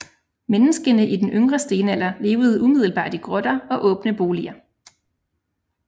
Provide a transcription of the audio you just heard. Menneskene i den yngre stenalder levede umiddelbart i grotter og åbne boliger